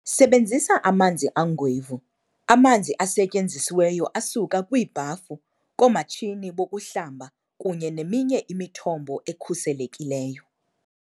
Sebenzisa "amanzi angwevu"-amanzi asetyenzisiweyo asuka kwiibhafu, koomatshini bokuhlamba kunye neminye imithombo ekhuselekileyo.